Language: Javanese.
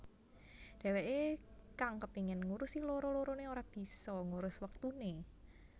Dheweké kang kepengin ngurusi loro loroné ora bisa ngurus wektuné